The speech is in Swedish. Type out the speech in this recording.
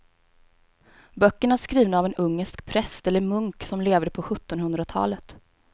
Böckerna är skrivna av en ungersk präst eller munk som levde på sjuttonhundratalet.